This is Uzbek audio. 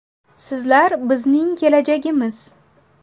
Sizlar bizning kelajagimiz.